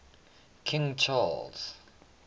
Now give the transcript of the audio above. king charles